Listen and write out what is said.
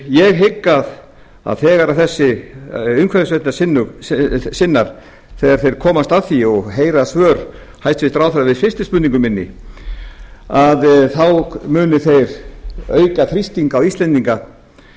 ég hygg að þegar þessir umhverfisverndarsinnar komast að því og heyra svör ráðherra við seinni spurningu minni þá munu þeir auka þrýsting á íslendinga